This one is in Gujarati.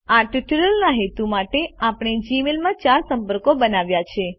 આ ટ્યુટોરીયલના હેતુ માટે આપણે જીમેઇલમાં ચાર સંપર્કો બનાવ્યા છે